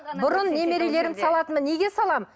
бұрын немерелерімді салатынмын неге саламын